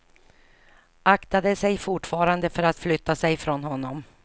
Aktade sig fortfarande för att flytta sig från honom.